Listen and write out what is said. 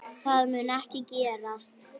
Það mun ekki gerast.